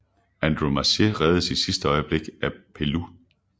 Andromache reddes i sidste øjeblik af Peleus